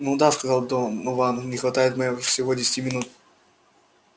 н-да сказал донован не хватает всего десяти минут